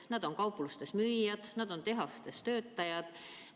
Nad on kauplustes müüjad, nad on tehastes töölised.